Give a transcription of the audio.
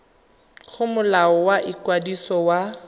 go molao wa ikwadiso wa